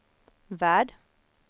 värld